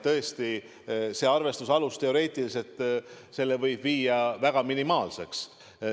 Tõesti, selle arvestuse aluse võib teoreetiliselt muuta minimaalseks.